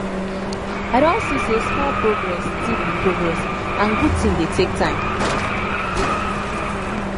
i don see say small progress still be progress and good thing dey take time